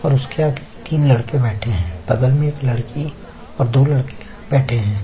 और उसके आगे तीन लड़के बैठे है बगल में एक लड़की और दो लड़के बैठे है।